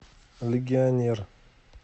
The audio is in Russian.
легионер